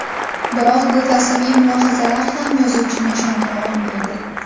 Biroq bu falsafiy mulohazalar ham yozuvchini ishontira olmaydi.